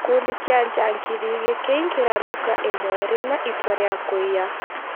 gĩkundi kĩa njangiri gĩkĩingĩra nduka imwe rĩna itua rĩa kũiya